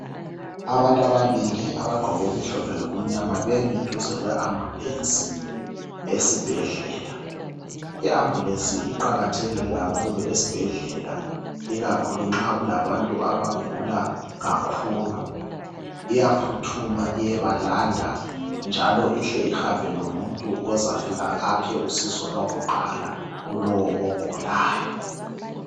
Abantu ababili abagqoke okumhlophe lokumyama bemi duze kwe ambulesi yesibhedlala. I ambulesi iqakathekile kakhulu esibhedlela, ikakhulu nxa kulabantu abagula kakhulu, iyaphuthuma iyebalanda njalo ihle ihambe lomuntu ozafika aphe usizo lwakuqala kulowo ogulayo.